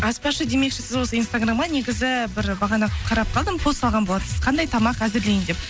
аспазшы демекші сіз осы инстаграмға негізі бір бағана қарап қалдым пост салған болатынсыз қандай тамақ әзірлейін деп